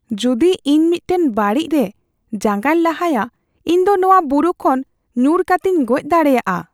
ᱡᱩᱫᱤ ᱤᱧ ᱢᱤᱫᱴᱟᱝ ᱵᱟᱹᱲᱤᱡ ᱨᱮ ᱡᱟᱸᱜᱟᱧ ᱞᱟᱦᱟᱭᱟ, ᱤᱧ ᱫᱚ ᱱᱚᱶᱟ ᱵᱩᱨᱩ ᱠᱷᱚᱱ ᱧᱩᱨ ᱠᱟᱛᱮᱧ ᱜᱚᱡ ᱫᱟᱲᱮᱭᱟᱜᱼᱟ ᱾